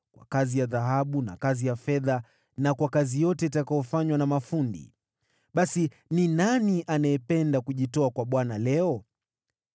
kwa kazi ya dhahabu na kazi ya fedha na kwa kazi yote itakayofanywa na mafundi. Basi, ni nani anayependa kujitoa kwa Bwana leo?”